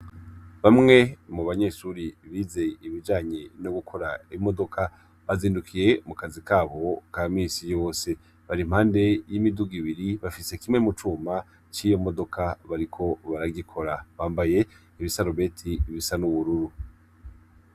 Bamwe mubanyeshure bize ibijanye no gukora imodoka, bazindukiye mu kazi kabo ka minsi yose, barimpande yimiduga ibiri bafise kimwe mucuma ciyo modoka bariko baragikora. Bambaye ibisarubeti bisa n'ubururu.